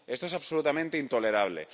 Esto es absolutamente intolerable.